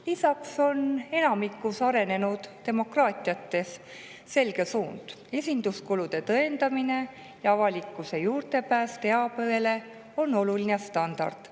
Lisaks on enamikus arenenud demokraatiates selge suund: esinduskulude tõendamine ja avalikkuse juurdepääs teabele on oluline standard.